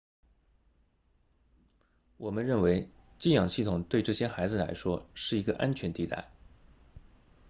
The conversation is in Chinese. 我们认为寄养系统对这些孩子来说是一个安全地带